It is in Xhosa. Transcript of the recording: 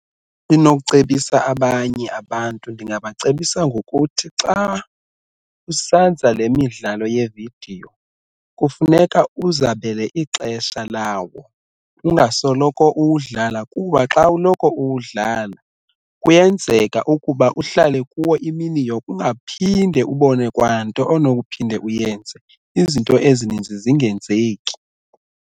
Endinokucebisa abanye abantu ndingabacebisa ngokuthi xa usenza le midlalo yevidiyo kufuneka uzabele ixesha lawo ungasoloko uwudlala kuba xa uloko uwudlala kuyenzeka ukuba uhlale kuwo imini yonke ungaphinde ubone kwanto onokuphinda uyenze izinto ezininzi zingenzeki.